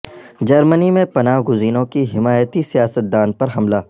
جرمنی میں پناہ گزینوں کی حمایتی سیاست دان پر حملہ